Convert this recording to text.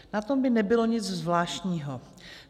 Na tom by nebylo nic zvláštního.